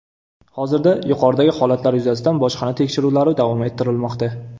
Hozirda yuqoridagi holatlar yuzasidan bojxona tekshiruvlari davom ettirilmoqda.